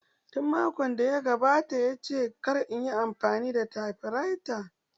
Tun makon da ya gabata ya ce kar inyi amfani da tafiraita.